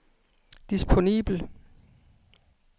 disponibel